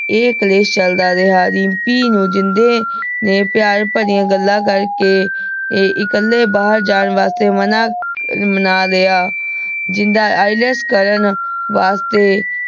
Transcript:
ਇਹ ਕਲੇਸ਼ ਚਲਦਾ ਰਿਹਾ ਰਿੰਪੀ ਨੂੰ ਜਿੰਦੇ ਨੇ ਪਯਾਰ ਭਰਿਯਾਂ ਗੱਲਾਂ ਕਰ ਕੇ ਤੇ ਇਕਲੇ ਬਹਿਰ ਜਾਣ ਵਾਸਤੇ ਮਨਾ ਮਨਾ ਲਯਾ ਜਿੰਦਾ ILETS ਕਰਨ ਵਾਸਤੇ